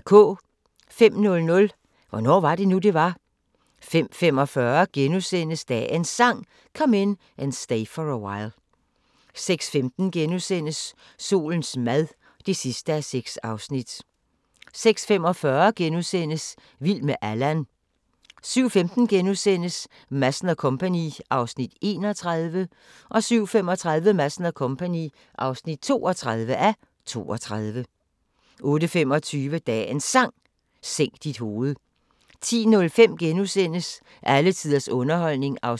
05:00: Hvornår var det nu, det var? 05:45: Dagens Sang: Come In And Stay For A While * 06:15: Solens mad (6:6)* 06:45: Vild med Allan * 07:15: Madsen & Co. (31:32)* 07:35: Madsen & Co. (32:32) 08:25: Dagens Sang: Sænk dit hoved 10:05: Alle tiders underholdning (1:8)*